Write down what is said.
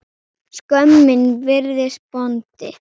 Skömmin virðist bóndi.